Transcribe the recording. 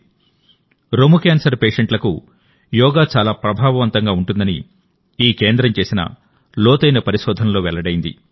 breast cancer పేషెంట్లకు యోగా చాలా ప్రభావవంతంగా ఉంటుందని ఈ కేంద్రం చేసిన లోతైన పరిశోధనలో వెల్లడైంది